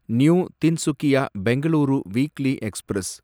new Tinsukia Bengaluru weekly express